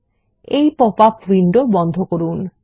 এবং এই popup window বন্ধ করুন